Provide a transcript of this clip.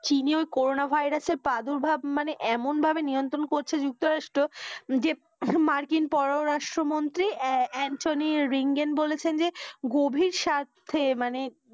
চীনে ওই corona virus এর প্রাদুর্ভাব এমন ভাবে নিয়ন্ত্রণ করছে যুক্তরাষ্ট্র যে মার্কিন পরও রাষ্ট্র মন্ত্রী এন এন্ঠনি রিংগেন বলেছেন যে গভীর স্বার্থে মানে,